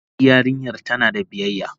E yarinyar tana da biyayya.